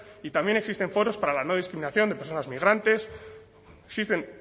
y también existen foros para la no discriminación de personas migrantes existen